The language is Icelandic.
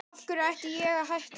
Af hverju ætti ég að hætta?